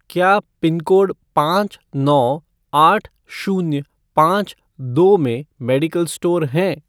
क्या पिनकोड पाँच नौ आठ शून्य पाँच दो में मेडिकल स्टोर हैं?